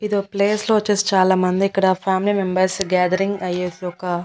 ఇదో ప్లేస్ లో వచ్చేసి చాలామంది ఇక్కడ ఫ్యామిలీ మెంబర్స్ గేదరింగ్ అయ్యేసి ఒక.